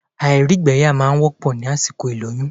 Àìrígbẹyà máa n wọ́pọ̀ ní àsìkò ìlóyún